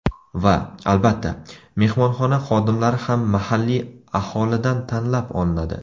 Va, albatta, mehmonxona xodimlari ham mahalliy aholidan tanlab olinadi.